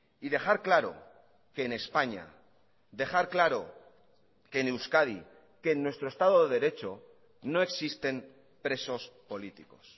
y dejar claro que en españa dejar claro que en euskadi que en nuestro estado de derecho no existen presos políticos